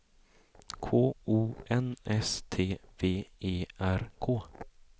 K O N S T V E R K